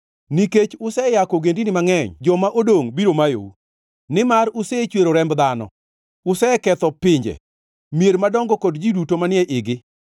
Nikech useyako ogendini mangʼeny, joma odongʼ biro mayou. Nimar usechwero remb dhano, useketho pinje, mier madongo kod ji duto manie igi.